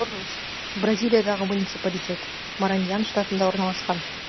моррус бразилиядағы муниципалитет мараньян штатында орналасқан